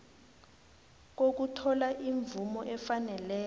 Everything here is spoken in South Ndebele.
kokuthola imvumo efaneleko